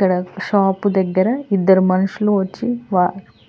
ఇక్కడ షాపు దగ్గర ఇద్దరు మనుషులు వచ్చి